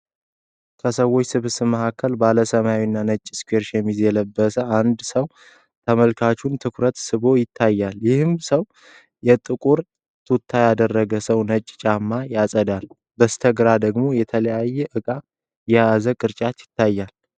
ከሰዎች ስብስብ መካከል፣ ባለ ሰማያዊና ነጭ ስኩዌር ሸሚዝ የለበሰ አንድ ሰው የተመልካቹን ትኩረት ስቦ ይታያል፤ ይህም ሰው የጥቁር ቱታ ያደረገውን ሰው ነጭ ጫማ ያጸዳል። በስተግራ ደግሞ የተለያየ ዕቃ የያዘ ቅርጫት ይታያል።